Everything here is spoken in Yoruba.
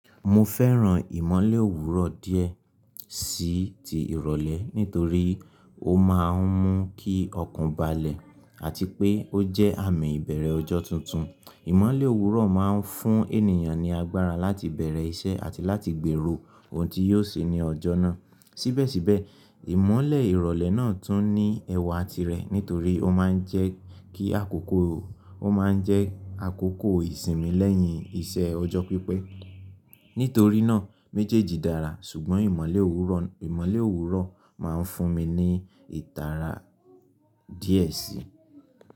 Mo fẹ́ràn ìmọ́lẹ̀ òwúrọ̀ díẹ̀ sí ti ìrọ̀lẹ́ nítorí ó máa ń mú kí ọkàn balẹ̀ àti pé ó jẹ́ àmì ìbẹ̀rẹ̀ ọjọ́ tuntun. Ìmọ́lẹ̀ òwúrọ̀ máa ń fún ènìyàn ní agbára láti bẹ̀rẹ̀ iṣẹ́ àti láti gbèrò ohun tí yóò ṣe ní ọjọ́ náà. Síbẹ̀síbẹ̀, ìmọ́lẹ̀ ìrọ̀lẹ́ náà tún ní ẹwà tirẹ̀ nítorí ó máa ń jẹ́ kí àkókò ìsinmi lẹ́yìn iṣẹ́ ọjọ́ pípẹ́. Nítorí náà méjèèjì dára ṣùgbọ́n ìmọ́lẹ̀ òwúrọ̀, ìmọ́lẹ̀ òwúrọ̀ máa ń fún mi ní ìtara díẹ̀ síi.